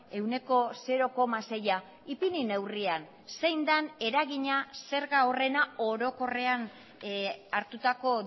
ehuneko zero koma seia ipini neurrian zein den eragina zerga horrena orokorrean hartutako